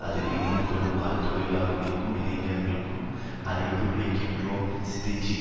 அதில் இணைந்துகொள்ளுமாறும் தொழிலாளர்களுக்கும் இளைஞர்களுக்கும் அழைப்பு விடுக்கின்றோம்ஸீதீஜீ